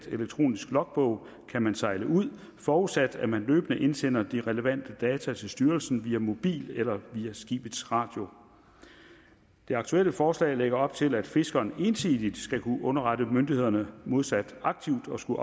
elektroniske logbog kan man sejle ud forudsat at man løbende indsender de relevante data til styrelsen via mobil eller via skibets radio det aktuelle forslag lægger op til at fiskeren ensidigt skal kunne underrette myndighederne modsat aktivt at skulle